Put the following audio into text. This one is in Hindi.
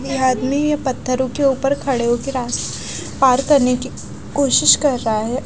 ये आदमी पत्थरों के ऊपर खड़े होके रा पार करने की कोशिश कर रहा है।